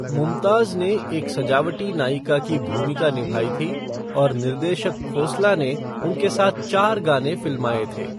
मुमताज़ ने एक सजावटी नायिका की भूमिका निभाई थी और निर्देशक खोसला ने उनके साथ चार गाने फिल्माए थे।